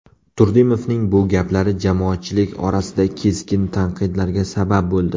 Turdimovning bu gaplari jamoatchilik orasida keskin tanqidlarga sabab bo‘ldi.